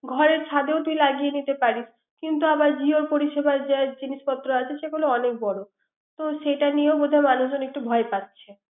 ঘরের ছাদেও তোর লাগিয়ে নিতে পারিস। কিন্তু জিও পরিসেবায় যে জিনিসপত্র আছে সেগুলা অনেক বড়। তো সেটা নিয়েও মানুষজনও একটু ভয় পাচ্ছে।